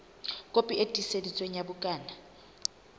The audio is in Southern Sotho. kopi e tiiseditsweng ya bukana